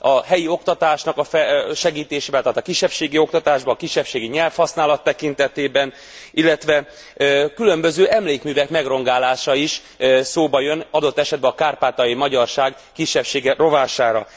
A helyi oktatásnak a segítése, tehát a kisebbségi oktatásba, a kisebbségi nyelvhasználat tekintetében, illetve különböző emlékművek megrongálása is szóba jön, adott esetben a kárpátaljai magyarság kisebbsége rovására.